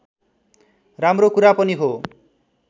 राम्रो कुरा पनि हो